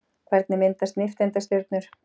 Hvernig myndast nifteindastjörnur?